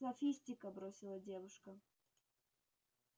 софистика бросила девушка